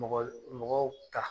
Mɔgɔl mɔgɔw ta